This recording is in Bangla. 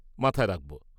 -মাথায় রাখব।